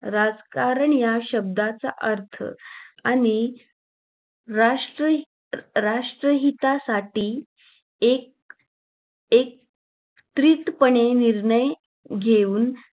राजकारण या शब्दाचा अर्थ आणि राष्ट्र राष्ट्रहितासाठी एक एक पणे निर्णय घेऊन